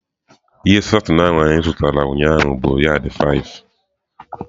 Ihe satin ahụ anyị zụtara ụnyaahụ bụ yad ise.